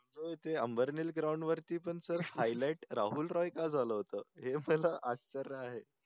हो ते आंबर्नेल ground वरती पण highlight राहुल राय का झालं होत हे आपल्याला